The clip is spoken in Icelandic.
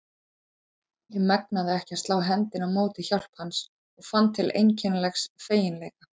Ég megnaði ekki að slá hendinni á móti hjálp hans og fann til einkennilegs feginleika.